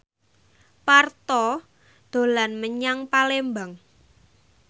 Parto dolan menyang Palembang